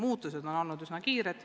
Muutused on olnud üsna kiired.